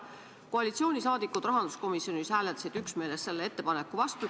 Koalitsiooni liikmed rahanduskomisjonis hääletasid üksmeeles selle ettepaneku vastu.